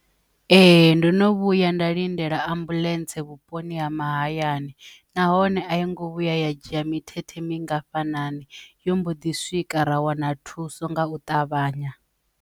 Ee, ndo no vhuya nda lindela ambuḽentse vhuponi ha mahayani nahone a yi ngo vhuya ya dzhia mithethe mingafhani yo mbo ḓi swika ra wana thuso nga u ṱavhanya.